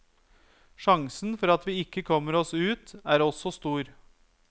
Sjansen for at vi ikke kommer oss ut er også stor.